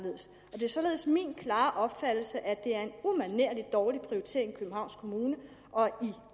det er således min klare opfattelse at det er en umanerlig dårlig prioritering i københavns kommune og